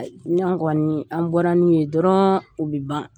Ni an kɔni, ni an bɔra n'u ye dɔrɔnw o bɛ ban.